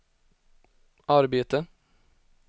arbete